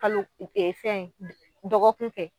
Kalo, ee fɛn dɔgɔkun kɛ.